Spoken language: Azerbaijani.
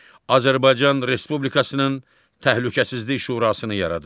Azərbaycan Respublikasının Təhlükəsizlik Şurasını yaradır.